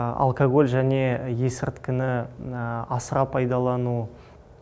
алкоголь және есірткіні асыра пайдалану